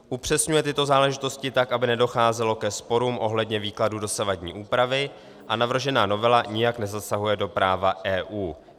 Upřesňuje tyto záležitosti tak, aby nedocházelo ke sporům ohledně výkladu dosavadní úpravy, a navržená novela nijak nezasahuje do práva EU.